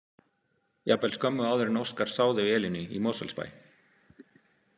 Jafnvel skömmu áður en Óskar sá þau Elínu í Mosfellsbæ.